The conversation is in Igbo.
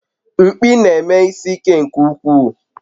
Mkpi na-eme isi ike nke ukwuu